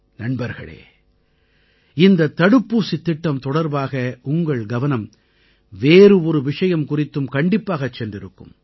நண்பர்களே இந்த தடுப்பூசித் திட்டம் தொடர்பாக உங்கள் கவனம் வேறு ஒரு விஷயம் குறித்தும் கண்டிப்பாகச் சென்றிருக்கும்